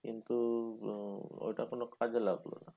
কিন্তু আহ ওইটা কোনো কাজে লাগলোনা।